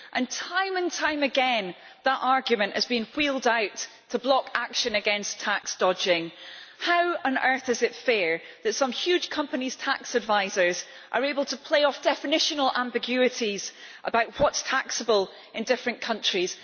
Yet time and time again, that argument has been wheeled out to block action against tax dodging. How on earth is it fair that some huge companies' tax advisers are able to play off definitional ambiguities about what is taxable in different countries?